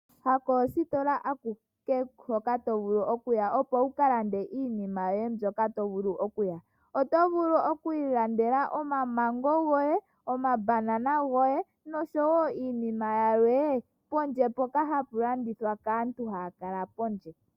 Kayishi koostola akuke tovulu okuya opo wukalande iinima yoye ndyoka wahala. Oto vulu okwiilandela oma mengo goye, omabanana goye noshowo iinima yilwe pondje mpoka hapa landithwa kaantu haya kala pondje.